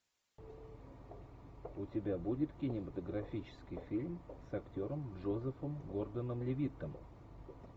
у тебя будет кинематографический фильм с актером джозефом гордоном левиттом